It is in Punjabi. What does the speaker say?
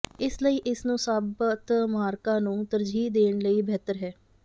ਇਸ ਲਈ ਇਸ ਨੂੰ ਸਾਬਤ ਮਾਰਕਾ ਨੂੰ ਤਰਜੀਹ ਦੇਣ ਲਈ ਬਿਹਤਰ ਹੈ